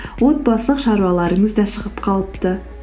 отбасылық шаруаларыңыз да шығып қалыпты